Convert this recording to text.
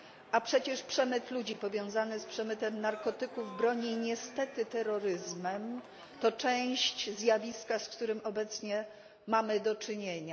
A przecież przemyt ludzi, powiązany z przemytem narkotyków, broni i niestety terroryzmem, to część zjawiska, z którym obecnie mamy do czynienia.